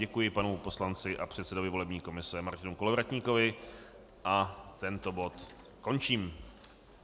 Děkuji panu poslanci a předsedovi volební komise Martinu Kolovratníkovi a tento bod končím.